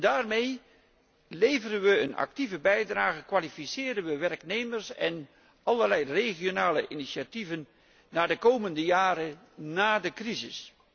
Daarmee leveren we een actieve bijdrage, kwalificeren we werknemers en nemen we allerlei regionale initiatieven voor de jaren na de crisis.